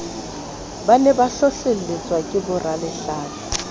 ne ba hlohlelletswa ke boralehlatsa